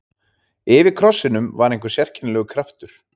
Yfir krossinum var einhver sérkennilegur kraftur.